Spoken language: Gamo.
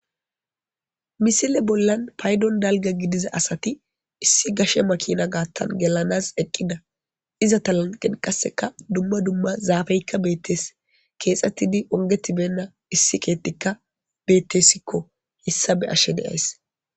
Misile bolani payidoni daliga gidida asati issi gashe makina gaththani gelenas eqida ezeta laniqenikka dumma dumma zafeyikka beteesi keeththetidi onigi beyina issi keththikka betesikko hesa beyashe deasi